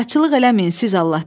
Qaraçılıq eləməyin siz Allah!